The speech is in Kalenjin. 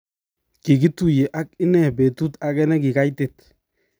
kikktuye aki inne betut age ne ki kaitit.